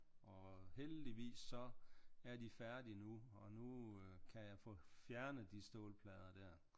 Og heldigvis så er de færdige nu og nu øh kan jeg få fjernet de stålplader der